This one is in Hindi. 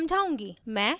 अब मैं आउटपुट समझाउंगी